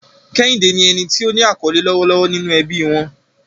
Kehinde ni ẹni tí ó ní àkọlé lọ́wọ́lọ́wọ́ nínú ẹbí wọn.